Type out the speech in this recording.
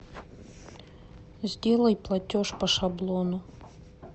сделай платеж по шаблону